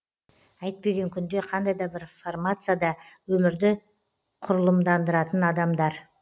әйтпеген күнде қандай да формацияда өмірді құрылымдандыратын адамдар